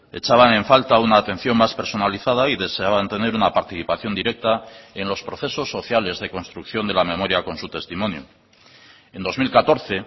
echaban en falta una atención más personalizada y deseaban tener una participación directa en los procesos sociales de construcción de la memoria con su testimonio en dos mil catorce